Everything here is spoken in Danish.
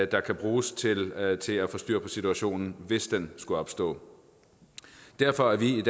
der kan bruges til at til at få styr på situationen hvis den skulle opstå derfor er vi i